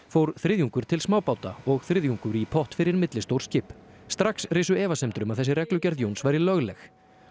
fór þriðjungur til smábáta og þriðjungur í pott fyrir millistór skip strax risu efasemdir um að þessi reglugerð Jóns væri lögleg